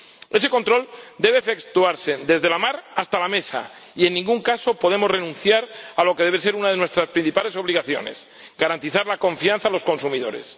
Ese control debe efectuarse desde la mar hasta la mesa y en ningún caso podemos renunciar a lo que debe ser una de nuestras principales obligaciones garantizar la confianza a los consumidores.